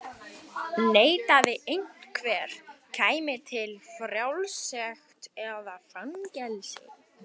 Neitaði einhver, kæmi til fjársekt eða fangelsi.